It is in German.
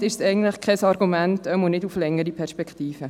Somit ist dies kein Argument, oder jedenfalls nicht auf lange Sicht.